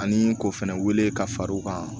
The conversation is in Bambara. Ani k'o fɛnɛ wele ka far'o kan